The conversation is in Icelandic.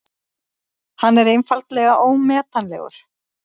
Hann er einfaldlega ómetanlegur.